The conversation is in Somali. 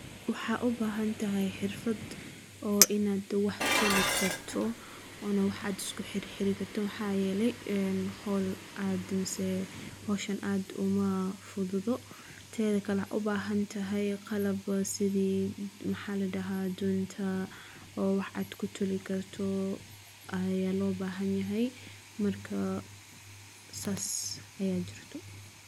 Waxa u baahan tahay xirfad oo inaad wax tolki karto. Una wax cajis ku xiriirta maxaa yeelay in hall aad dhamaseo hawshan aad uma fududo. Taasoo kale waxa u baahan tahay qalab sidi maxaa la dhahaa doonta oo wax cad ku tolki karto ayaa loo baahan yahay marka saas ayaa jirto.